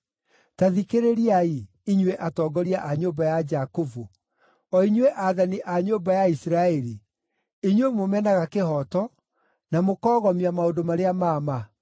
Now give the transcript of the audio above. Ta thikĩrĩriai, inyuĩ atongoria a nyũmba ya Jakubu, o inyuĩ aathani a nyũmba ya Isiraeli, inyuĩ mũmenaga kĩhooto, na mũkoogomia maũndũ marĩa ma ma;